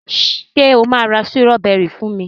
ṣe o ma ra Sírọ́bẹ́rì fún mí?